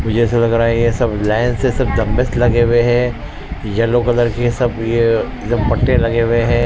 मुझे ऐसा लग रहा ये सब लाइन से सब डंबल्स लग हुए है येलो कलर के सब ये पट्टे लगे हुए हैं।